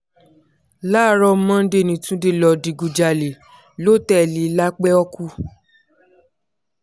láàárọ̀ monday ní túnde lọ́ọ́ digunjalè lótẹ́ẹ̀lì lápẹ́ọ́kù